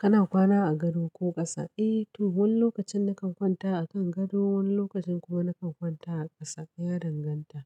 Kana kwana a gado ko ƙasa? Eh to, wani lokacin na kan kwanta a kan gado, wani lokacin kuma na kan kwanta a ƙasa. Ya danganta,